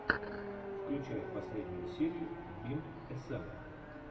включай последнюю серию бим эсэн